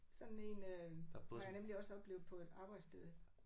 Sådan en øh har jeg nemlig også oplevet på et arbejdssted